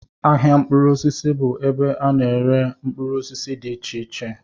Ahịa mkpụrụ osisi bụ ebe a na-ere mkpụrụ osisi dị iche iche